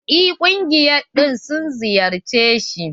En ƙungiya ɗin sun ziyarce shi?